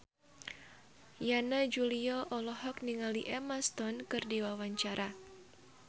Yana Julio olohok ningali Emma Stone keur diwawancara